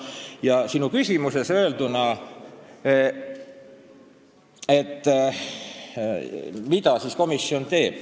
Nüüd sinu küsimuse see osa, et mida komisjon teeb.